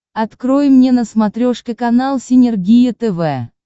открой мне на смотрешке канал синергия тв